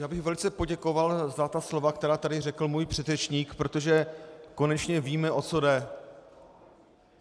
Já bych velice poděkoval za ta slova, která tady řekl můj předřečník, protože konečně víme, o co jde.